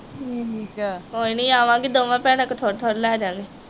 ਕੋਈ ਨਹੀਂ ਆਵਾਂਗੇ ਦੋਵਾਂ ਭੈਣਾਂ ਕੋ ਥੋੜ੍ਹਾ ਥੋੜ੍ਹਾ ਲੇਜਾਗੇ।